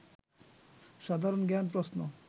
সাধারণ জ্ঞান প্রশ্ন